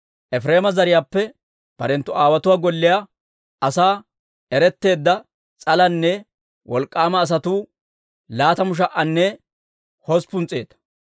Efireema zariyaappe barenttu aawotuwaa golliyaa asan eretteedda s'alanne wolk'k'aama asatuu laatamu sha"anne hosppun s'eeta.